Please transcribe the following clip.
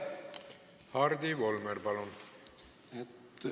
Hardi Volmer, palun!